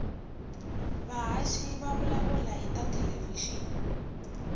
vahhashi vavulavula hhitatelevishini